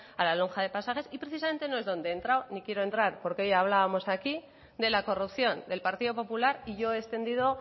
a la lonja de pasajes y precisamente no es donde he entrado ni quiero entrar porque hoy hablábamos aquí de la corrupción del partido popular y yo he extendido